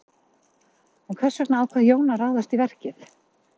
En hvers vegna ákvað Jón að ráðast í verkið?